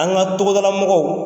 An ka togodala mɔgɔw